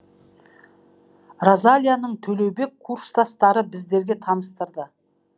розалияны төлеубек курстастары біздерге таныстырды